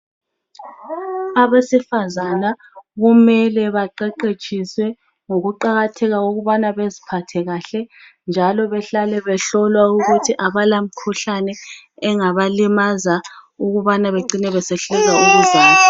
Abesifazana kumele kumele beqeqetshiswe ngokuqakatheka kokubana beziphathe kahle njalo behlale behlolwa ukuthi abala mikhuhlane engaba limaza ukubana besehluleka ukuzalwa.